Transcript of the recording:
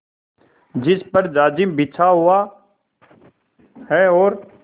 जिस पर जाजिम बिछा हुआ है और